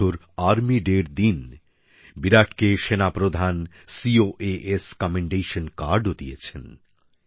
এবছর আর্মি ডের দিন বিরাটকে সেনাপ্রধান সিওএএস কমেন্ডেশন কার্ডও দিয়েছেন